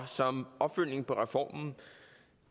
som